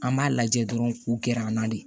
An b'a lajɛ dɔrɔn k'u gɛr'an na de